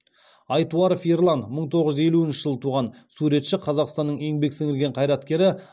айтуаров ерлан мың тоғыз жүз елуінші жылы туған суретші қазақстанның еңбек сіңірген қайраткері